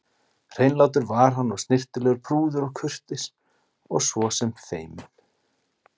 Hreinlátur var hann og snyrtilegur, prúður og kurteis og svo sem feiminn.